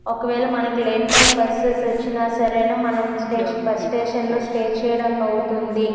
ఒకవేళ మనకి late time bus వచ్చినా కూడా మనము బస్ స్టేషన్ లో స్టే చేయడానికి వీలవుతుంది.